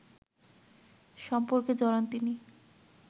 সম্পর্কে জড়ান তিনি